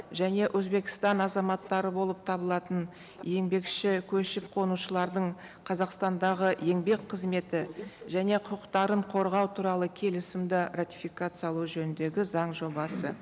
және өзбекстан азаматтары болып табылатын еңбекші көшіп қонушылардың қазақстандағы еңбек қызметі және құқықтарын қорғау туралы келісімді ратификациялау жөніндегі заң жобасы